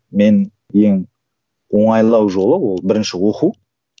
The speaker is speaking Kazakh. мен ең оңайлау жолы ол бірінші оқу